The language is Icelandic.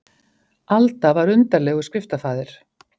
Alda var undarlegur skriftafaðir.